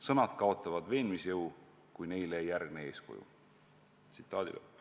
Sõnad kaotavad veenmisjõu, kui neile ei järgne eeskuju.